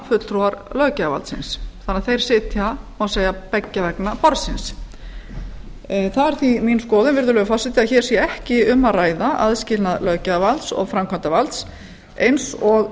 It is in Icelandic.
fulltrúar löggjafarvaldsins þannig að þeir sitja má segja beggja vegna borðsins það er því mín skoðun virðulegi forseti að hér sé ekki um að ræða aðskilnað löggjafarvalds og framkvæmdarvalds eins og